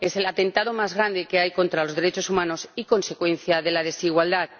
Es el atentado más grande que hay contra los derechos humanos, y consecuencia de la desigualdad.